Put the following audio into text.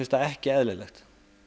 það ekki eðlilegt